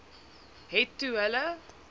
het toe hulle